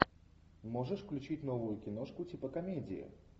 можешь включить новую киношку типа комедии